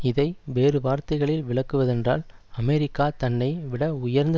இதை வேறுவார்த்தைகளில் விளக்குவதென்றால் அமெரிக்கா தன்னை விட உயர்ந்த